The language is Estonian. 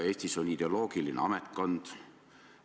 Eestis on ideoloogiline ametkond.